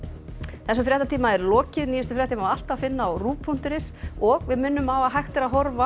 þessum fréttatíma er lokið nýjustu fréttir má alltaf finna á punktur is og við minnum á að hægt er að horfa